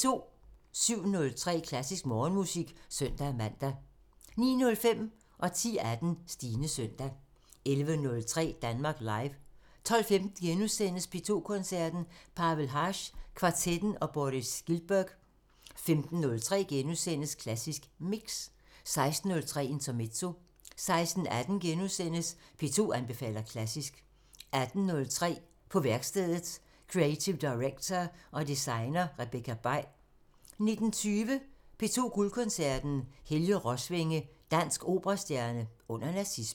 07:03: Klassisk Morgenmusik (søn-man) 09:05: Stines søndag 10:18: Stines søndag 11:03: Danmark Live 12:15: P2 Koncerten – Pavel Haas kvartetten og Boris Giltburg * 15:03: Klassisk Mix * 16:03: Intermezzo 16:18: P2 anbefaler klassisk * 18:03: På værkstedet – Creative director og designer Rebekka Bay 19:20: P2 Guldkoncerten – Helge Rosvænge – dansk operastjerne under nazismen